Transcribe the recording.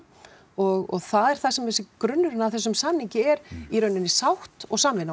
og það er það sem grunnurinn af þessum samningi er í rauninni sátt og samvinna og